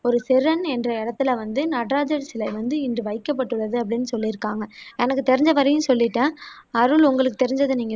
ஒரு செர்ன் என்ற இடத்துல வந்து நடராஜர் சிலை வந்து இன்று வைகப்பட்டுள்ளது அப்படின்னு சொல்லியிருக்காங்க எனக்கு தெரிஞ்ச வரையும் சொல்லிட்டேன் அருள் உங்களுக்கு தெரிஞ்சதை நீங்க